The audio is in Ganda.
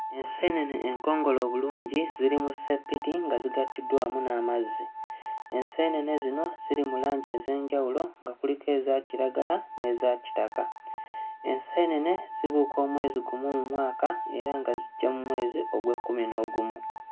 Enseenene enkongole obulungi ziri mu sseppiti nga zigattiddwa wamu n'amazzi. Enseenene zino ziri mu langi ez'enjawulo nga kuliko eza kiragala n'eza kitaka. Enseenene zibuuka omwezi gumu mu mwaka era nga zijja mu mwezi Ogwekkuminoogumu.